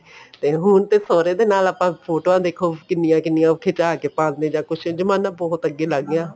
ਤੇ ਹੁਣ ਤੇ ਸਹੁਰੇ ਦੇ ਨਾਲ ਆਪਾਂ ਫੋਟੋਆਂ ਦੇਖੋ ਕਿੰਨੀਆਂ ਕਿੰਨੀਆਂ ਖਿਚਾ ਕੇ ਪਾਦੇ ਜਾਂ ਕੁੱਝ ਜਮਾਣਾ ਬਹੁਤ ਅੱਗੇ ਲੰਗ ਗਿਆ